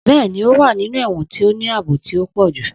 Bẹ́ẹ̀ni, ó wà nínú ẹ̀wọ̀n tó ní ààbò tó pọ̀ jù.